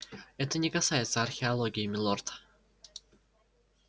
это не касается археологии милорд